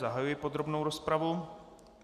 Zahajuji podrobnou rozpravu.